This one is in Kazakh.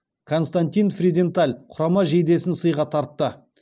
константин фриденталь құрама жейдесін сыйға тартты